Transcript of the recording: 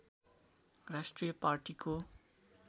राष्ट्रिय पार्टीको